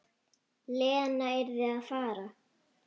Lena yrði að fara.